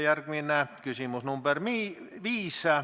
Järgmine on küsimus nr 5.